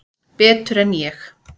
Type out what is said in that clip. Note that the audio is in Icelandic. Betur en ég?